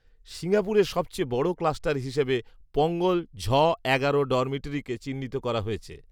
সিঙ্গাপুরে সবচেয়ে বড় ক্লাস্টার হিসেবে পংগল ঝ এগারো ডরমিটরিকে চিহ্নিত করা হয়েছে